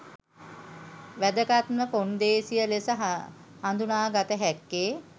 වැදගත්ම කොන්දේසිය ලෙස හඳුනාගත හැක්කේ